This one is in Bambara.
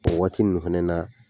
O Waati ninnu fɛnɛ na